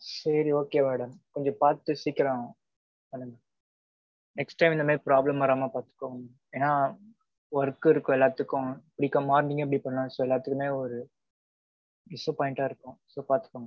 சேரி okay madam. கொஞ்ச பாத்து சீக்கிறோம் பன்னுங்க. next time இந்த மாறி problem வராம பாத்துக்கங்க. எனா work இருக்கும் எல்லாத்துக்கும். morning இப்படி பண்ண எல்லாத்துக்குமே ஒரு disappoint -ஆ இருக்கும். so பாத்துக்கோங்க